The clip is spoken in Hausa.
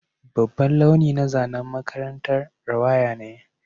Babban launi na zanen makarantar rawaya ne